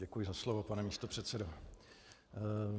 Děkuji za slovo pane místopředsedo.